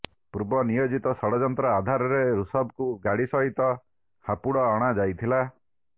ପୂର୍ବ ନିୟୋଜିତ ଷଡଯନ୍ତ୍ର ଆଧାରରେ ଋଷଭକୁ ଗାଡି ସହିତ ହାପୁଡ ଅଣା ଯାଇଥିଲା